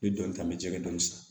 N ye dɔnni ta n bɛ jɛgɛ dɔn san